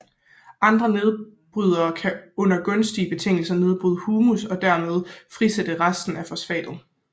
Andre nedbrydere kan under gunstige betingelser nedbryde humus og derved frisætte resten af fosfatet